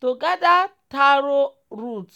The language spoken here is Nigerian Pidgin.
to gather taro root